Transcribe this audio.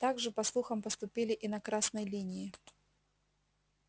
так же по слухам поступили и на красной линии